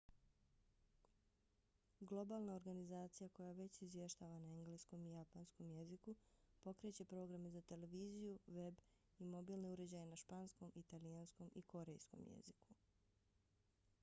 globalna organizacija koja već izvještava na engleskom i japanskom jeziku pokreće programe za televiziju web i mobilne uređaje na španskom italijanskom i korejskom jeziku